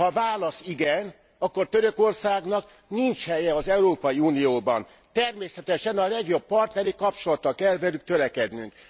Ha a válasz igen, akkor Törökországnak nincs helye az Európai Unióban. Természetesen a legjobb partneri kapcsolatra kell velük törekednünk.